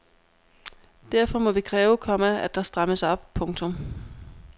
Derfor må vi kræve, komma at der strammes op. punktum